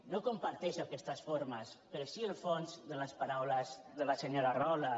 no comparteixo aquestes formes però sí el fons de les paraules de la senyora rahola